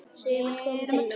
Sumir koma til Noregs.